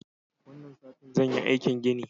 Wannan satin zan yi aikin gini.